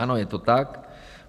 - Ano, je to tak.